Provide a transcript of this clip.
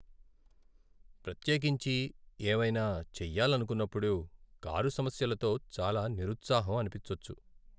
ప్రత్యేకించి ఏవైనా చెయ్యాలనుకున్నప్పుడు కారు సమస్యలతో చాలా నిరుత్సాహం అనిపించొచ్చు.